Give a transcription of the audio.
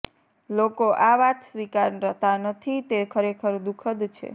લોકો આ વાત સ્વીકારતા નથી તે ખરેખર દુઃખદ છે